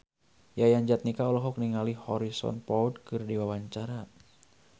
Yayan Jatnika olohok ningali Harrison Ford keur diwawancara